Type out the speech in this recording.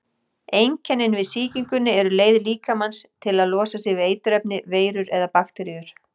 Einkennin við sýkingunni eru leið líkamans til að losa sig við eiturefni, veirur eða bakteríur.